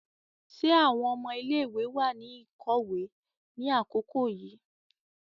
Ṣe awọn ọmọ ilé-ìwé wà ní ikọwe ni àkókò yìí?